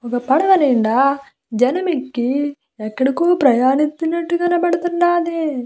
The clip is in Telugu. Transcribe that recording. ఒక్క పడవ నిండా జనం ఎక్కి ఎక్కడికో ప్రయాణిస్తున్నట్టుగా కనపడుతూనాది.